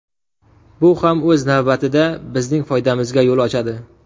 Bu ham o‘z navbatida bizning foydamizga yo‘l ochadi.